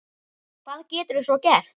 Og hvað geturðu svo gert?